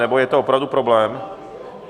Nebo je to opravdu problém?